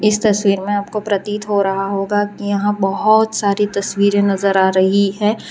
इस तस्वीर में आपको प्रतीत हो रहा होगा कि यहां बहोत सारी तस्वीरे नजर आ रही है।